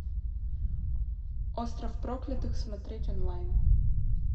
остров проклятых смотреть онлайн